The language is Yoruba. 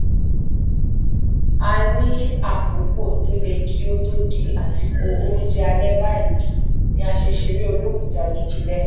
a ní àkókò tó lé kí ó to di àsìkò oúnjẹ alẹ báyìí ni a ṣe ṣeré olókùúta jújù lẹẹkan